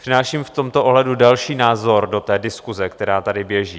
Přináším v tomto ohledu další názor do té diskuse, která tady běží.